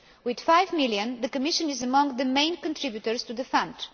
With EUR 5 million, the Commission is among the main contributors to the